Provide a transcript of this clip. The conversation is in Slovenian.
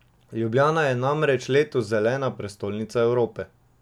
Ljubljana je namreč letos Zelena prestolnica Evrope.